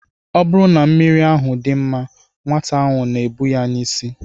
Ọ bụrụ na mmiri ahụ dị mma, nwata ahụ na-ebu ya n'isi.